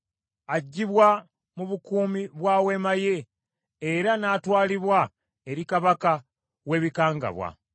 Aggyibwa mu bukuumi bwa weema ye era n’atwalibwa eri kabaka w’ebikangabwa.